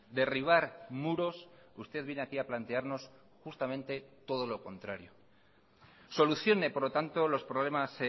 derribar muros usted viene aquí a plantearnos justamente todo lo contrario solucione por lo tanto los problemas